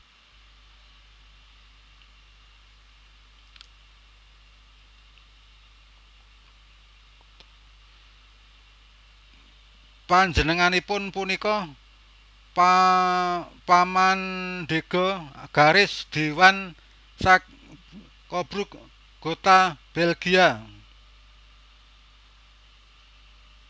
Panjenenganipun punika pamandhéga garis Dewan Saxe Coburg Gotha Belgia